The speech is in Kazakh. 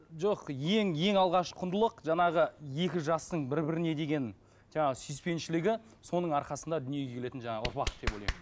жоқ ең ең алғаш құндылық жаңағы екі жастың бір біріне деген жаңағы сүйіспеншілігі соның арқасында дүниеге келетін жаңағы ұрпақ деп ойлаймын